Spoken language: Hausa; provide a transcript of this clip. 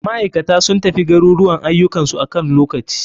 Maikata sun tafi garuruwan ayukan su akan lokaci.